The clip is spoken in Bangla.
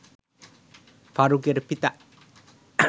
ফারুকের পিতা